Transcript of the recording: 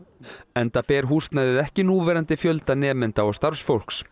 enda ber húsnæðið ekki núverandi fjölda nemenda og starfsfólks